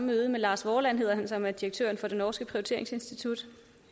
møde med lars vorland som er direktør for det norske prioriteringsinstitut